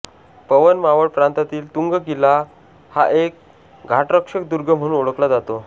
पवन मावळ प्रांतातील तुंग किल्ला हा एक घाटरक्षक दुर्ग म्हणून ओळखला जातो